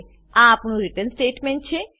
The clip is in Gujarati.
આ આપણું રીટર્ન સ્ટેટમેંટ છે